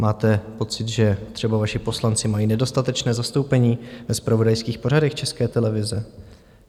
Máte pocit, že třeba vaši poslanci mají nedostatečné zastoupení ve zpravodajských pořadech České televize?